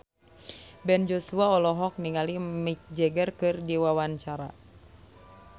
Ben Joshua olohok ningali Mick Jagger keur diwawancara